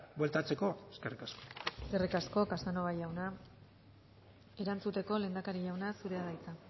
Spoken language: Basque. bueltatzeko eskerrik asko eskerrik asko casanova jauna erantzuteko lehendakari jauna zurea da hitza